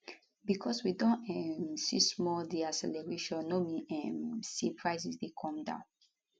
bicos we don um see small deacceleration no mean um say prices dey come down